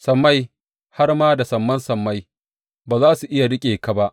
Sammai, har ma da saman sammai, ba za su iya riƙe ka ba.